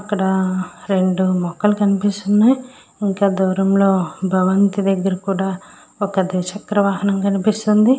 ఒక రెండు మూడు మొక్కలు కనిపిస్తునాయి. ఇంకా కొంత దూరంలో భవంతి దగ్గర ఒక ద్విచక్ర వాహనం కనిపిస్తుంది.